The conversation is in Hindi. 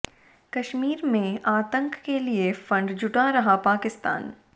कश्मीर में आतंक के लिए फंड जुटा रहा पाकिस्तान